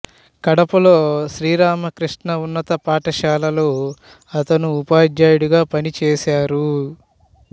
కడపలో శ్రీ రామకృష్ణా ఉన్నత పాఠశాలలో అతను ఉపాధ్యాయుడుగా పనిచేశారు